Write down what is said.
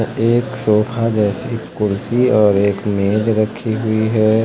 एक सोफा जैसी कुर्सी और एक मेज रखी हुई है।